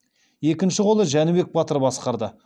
екінші қолды жәнібек батыр басқарды